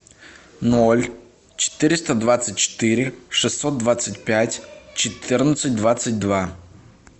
ноль четыреста двадцать четыре шестьсот двадцать пять четырнадцать двадцать два